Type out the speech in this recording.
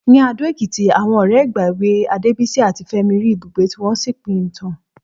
Ní Adó-Ẹ̀kìtì, àwọn ọ̀rẹ́ ìgbà èwe Adébísí àti Fẹ́mi rí ibùgbé tí wọ́n sì pín ìtàn.